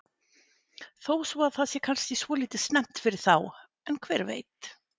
Þó svo að það sé kannski svolítið snemmt fyrir þá en hver veit?